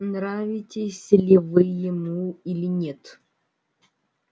нравитесь ли вы ему или нет